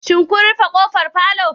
Shin kun rufe kofar palour